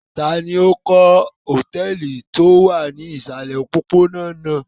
Ta ni ó kọ́ hòtẹ́ẹ́lì tí ó wà ní ìsàlẹ̀ òpópónà náà?